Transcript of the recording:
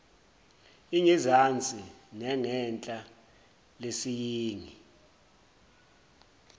ingezansi nengenhla lesiyingi